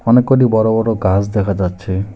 অনেক কটি বড় বড় গাস দেখা যাচ্ছে।